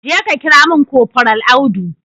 Jeka kira mun kofral Audu